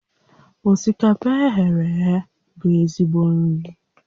Osikapa e ghere eghe bụ ezigbo nri